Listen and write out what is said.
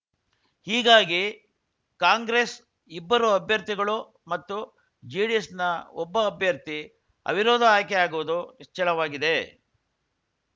ಹೀಗಾಗಿ ಕಾಂಗ್ರೆಸ್‌ ಇಬ್ಬರು ಅಭ್ಯರ್ಥಿಗಳು ಮತ್ತು ಜೆಡಿಎಸ್‌ನ ಒಬ್ಬ ಅಭ್ಯರ್ಥಿ ಅವಿರೋಧ ಆಯ್ಕೆಯಾಗುವುದು ನಿಚ್ಚಳವಾಗಿದೆ